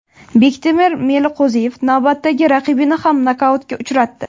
Bektemir Meliqo‘ziyev navbatdagi raqibini ham nokautga uchratdi .